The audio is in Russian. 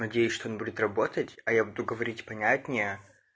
надеюсь что он будет работать а я буду говорить понятнее